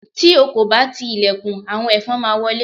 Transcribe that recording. ti o ko ba ti ilẹkùn, awọn ẹfọn ma wọlé